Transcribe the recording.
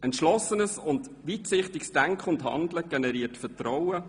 Entschlossenes und weitsichtiges Denken und Handeln generiert Vertrauen.